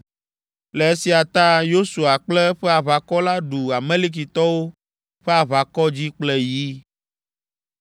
Le esia ta Yosua kple eƒe aʋakɔ la ɖu Amalekitɔwo ƒe aʋakɔ dzi kple yi.